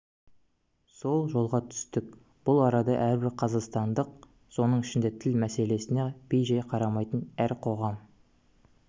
сол жолға түстік бұл арада әрбір қазақстандық соның ішінде тіл мәселесіне бей-жай қарамайтын әр қоғам